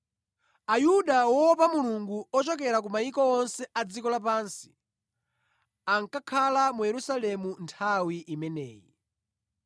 Ayuda woopa Mulungu ochokera ku mayiko onse a dziko lapansi ankakhala mu Yerusalemu nthawi imeneyi.